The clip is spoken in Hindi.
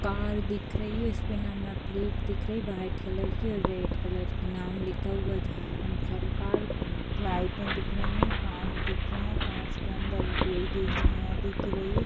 कार दिख रही है इस पे नंबर प्लेट दिख रही हैवाइट कलर की और रेड कलर की नाम लिखा हुआ है झारखंड सराकर लाइटे दिख रही है कांच दिख रही है कांच के अन्दर पेड़ की एक छाया दिख रही है।